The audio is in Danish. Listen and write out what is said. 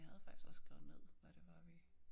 Men jeg havde faktisk også skrevet ned hvad det var vi